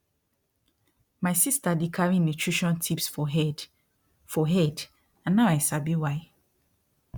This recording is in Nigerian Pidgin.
my sister dey carry nutrition tips for head for head and now i sabi why